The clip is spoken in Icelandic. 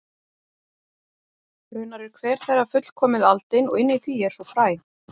Raunar er hver þeirra fullkomið aldin og inni í því er svo fræ.